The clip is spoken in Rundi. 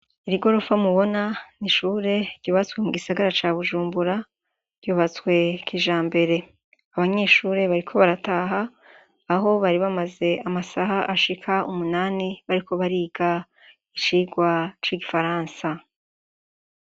Iri gorofa mubona, ni ishure ryubatswe mu gisagara ca Bujumbura; ryubatswe kijambere. Abanyeshure bariko barataha, aho bari bamaze amasaha ashika umunani bariko bariga icigwa c'Igifaransa.